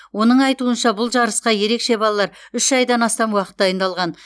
оның айтуынша бұл жарысқа ерекше балалар үш айдан астам уақыт дайындалған